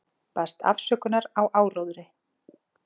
Baðst afsökunar á áróðri